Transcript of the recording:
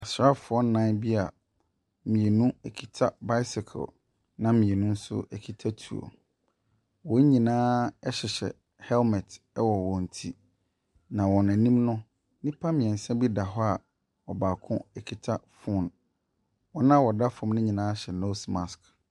Asraafoɔ nnan bi a mmienu kita bicycle na mmienu nso kita tuo. Wɔn nyinaa hyehyɛ helmet wɔ wɔn ti, na wɔn anim no, nnipa mmeɛnsa bi da hɔ a baako kita phone. Wɔn a wɔda fam no nyinaa hyɛ nose mask.